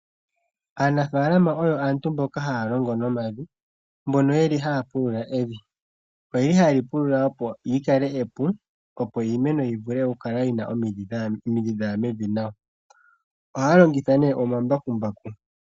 Aanafaalama oyo aantu mboka haya longo nomavi mbono yeli halapulula omavi ,oyeli hayeli pulula opo likale epu opo iimeno yivule yikale yina omidhi dhaya mevi nawa ohaya longitha nee omambakumbaku.